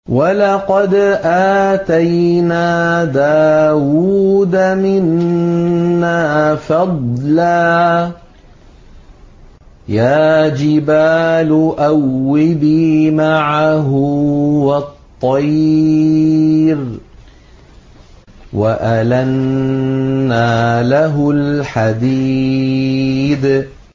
۞ وَلَقَدْ آتَيْنَا دَاوُودَ مِنَّا فَضْلًا ۖ يَا جِبَالُ أَوِّبِي مَعَهُ وَالطَّيْرَ ۖ وَأَلَنَّا لَهُ الْحَدِيدَ